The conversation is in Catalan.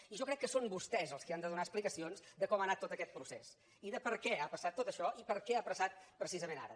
i jo crec que són vostès els que han de donar explicacions de com ha anat tot aquest procés i de per què ha passat tot això i per què ha passat precisament ara